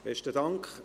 Besten Dank.